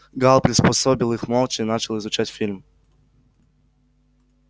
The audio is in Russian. гаал приспособил их молча начал изучать фильм